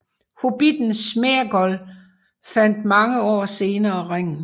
Hobbitten Sméagol fandt mange år senere ringen